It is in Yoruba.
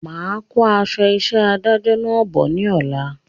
Máa kó aṣọ isẹ́ adájọ náà bọ̀ ní ọ̀la